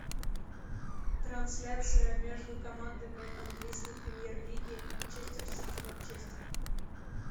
трансляция между командами английской премьер лиги манчестер сити манчестер